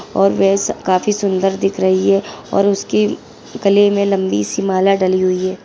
और काफी सुन्दर दिख रही है और उसकी गले में लम्बी सी माला डली हुई है।